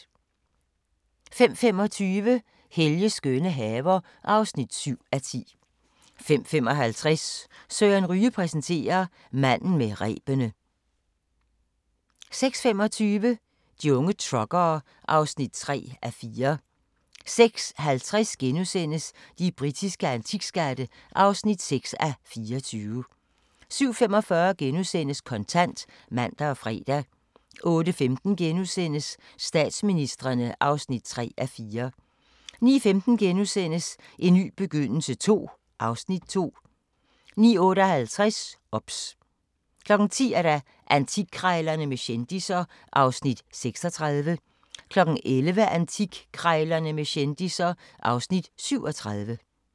05:25: Helges skønne haver (7:10) 05:55: Søren Ryge præsenterer: Manden med rebene 06:25: De unge truckere (3:4) 06:50: De britiske antikskatte (6:24)* 07:45: Kontant *(man og fre) 08:15: Statsministrene (3:4)* 09:15: En ny begyndelse II (Afs. 2)* 09:58: OBS 10:00: Antikkrejlerne med kendisser (Afs. 36) 11:00: Antikkrejlerne med kendisser (Afs. 37)